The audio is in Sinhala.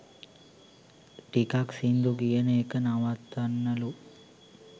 ටිකක් සිංදු කියන එක නවත්තන්නලු"